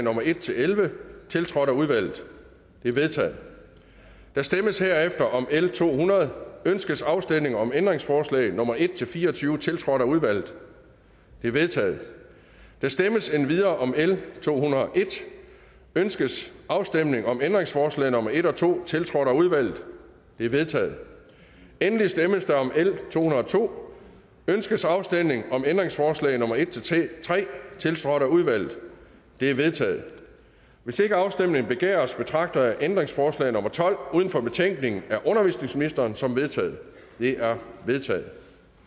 nummer en elleve tiltrådt af udvalget de er vedtaget der stemmes herefter om l to hundrede ønskes afstemning om ændringsforslag nummer en fire og tyve tiltrådt af udvalget de er vedtaget der stemmes endvidere om l to hundrede og en ønskes afstemning om ændringsforslag nummer en og to tiltrådt af udvalget de er vedtaget endelig stemmes der om l to hundrede og to ønskes afstemning om ændringsforslag nummer en tre tiltrådt af udvalget de er vedtaget hvis ikke afstemning begæres betragter jeg ændringsforslag nummer tolv uden for betænkningen af undervisningsministeren som vedtaget det er vedtaget